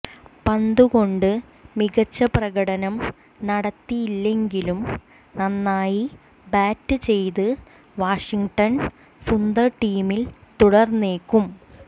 പന്തുകൊണ്ട് മികച്ച പ്രകടനം നടത്തിയില്ലെങ്കിലും നന്നായി ബാറ്റ് ചെയ്ത വാഷിംഗ്ടൺ സുന്ദർ ടീമിൽ തുടർന്നേക്കും